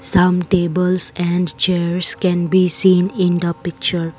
Some tables and chairs can be seen in the picture.